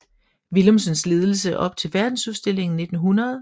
Willumsens ledelse op til Verdensudstillingen 1900